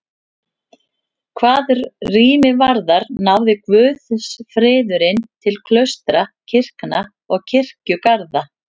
Hvað rými varðar náði guðsfriðurinn til klaustra, kirkna og kirkjugarða.